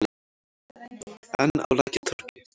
Enn á Lækjartorgi.